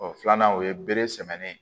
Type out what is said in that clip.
O filanan o ye bere sɛmɛn